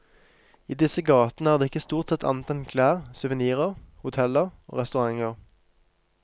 I disse gatene er det ikke stort sett annet enn klær, souvernirer, hoteller og restauranter.